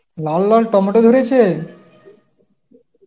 লাল লাল টমেটো ধরেছে?